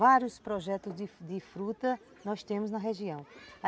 Vários projetos de frutas nós temos na região.